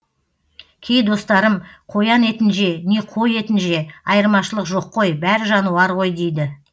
кей достарым қоян етін же не қой етін же айырмашылық жоқ қой бәрі жануар ғой дейді